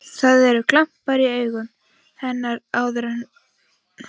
Það eru glampar í augum hennar sem áður voru gul.